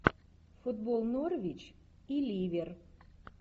футбол норвич и ливер